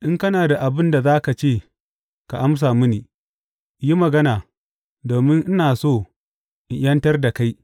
In kana da abin da za ka ce, ka amsa mini; yi magana, domin ina so in ’yantar da kai.